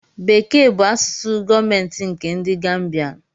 Bekee bụ asụsụ gọọmentị nkè ndị Gambianu